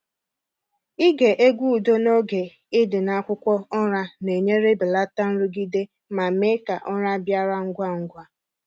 Ịge egwu udo n’oge ị dị n’akwụkwọ ụra na-enyere belata nrụgide ma mee ka ụra bịara ngwa ngwa.